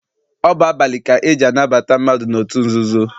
Ọ bụ abalị ka eji anabata mmadụ n'otu nzuzo.